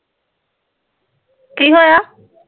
ਕੀ ਹੋਇਆ